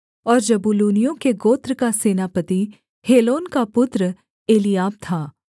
और जबूलूनियों के गोत्र का सेनापति हेलोन का पुत्र एलीआब था